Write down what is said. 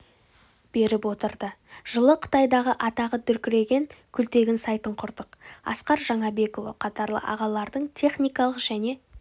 беріп отырды жылы қытайдағы атағы дүркіреген күлтегін сайтын құрдық асқар жаңабекұлы қатарлы ағалардың техникалық және